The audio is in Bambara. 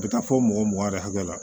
A bɛ taa fɔ mɔgɔ mugan yɛrɛ hakɛ la